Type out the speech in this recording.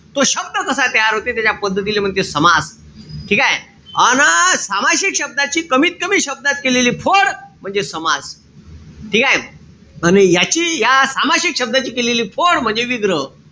तो शब्द कसा तयार होते. त त्या पद्धतीला म्हणते समास. ठीकेय? अन सामासिक शब्दाची कमीत-कमी शब्दात केलेली फोड म्हणजे समास. ठीकेय? अन याची या सामासिक शब्दाची केलेली फोड म्हणजे विग्रह.